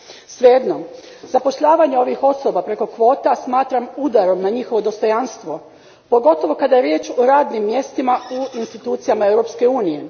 Svejedno, zapošljavanje ovih osoba preko kvota smatram udarom na njihovo dostojanstvo, pogotovo kada je riječ o radnim mjestima u institucijama Europske unije.